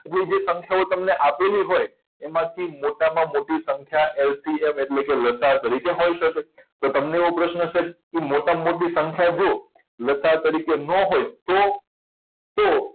જે જે સંખ્યાઓ તમને આપેલી હોય એમાંથી મોટામાં મોટી સંખ્યા LCM એટલે કે લસાઅ તરીકે હોઈ શકે તો તમને એવો પ્રશ્ન હશે મોટામાં મોટી સંખ્યા જુઓ લ. સા. અ તરીકે ન હોય તો તો